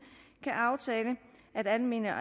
kan aftale at almene